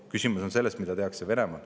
Küsimus on selles, mida tehakse Venemaal.